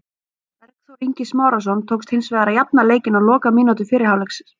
Bergþór Ingi Smárason tókst hins vegar að jafna leikinn á lokamínútu fyrri hálfleiks.